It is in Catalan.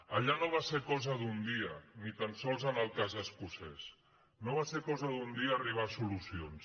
allà no va ser cosa d’un dia ni tan sols en el cas escocès no va ser cosa d’un dia arribar a solucions